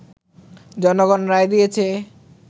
জনগণ রায় দিয়েছে